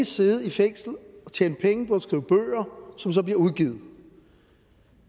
sidde i fængslet og tjene penge på at skrive bøger som så bliver udgivet